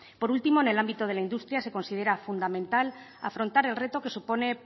por último en el ámbito de la industria se considera fundamental afrontar el reto que supone